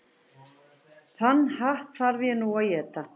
Þann hatt þarf ég nú að éta.